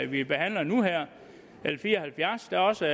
vi behandler nu l fire og halvfjerds der er også